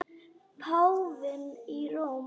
Páfinn í Róm.